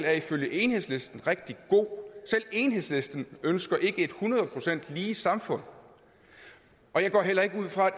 er i følge enhedslisten rigtig god selv enhedslisten ønsker ikke et hundrede procent lige samfund og jeg går heller ikke ud fra